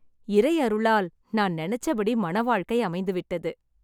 இறை அருளால் நான் நினைச்சபடி மண வாழ்க்கை அமைந்து விட்டது.